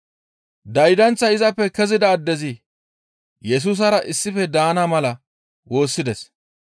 Daydanththay izappe kezida addezi Yesusara issife daana mala woossides.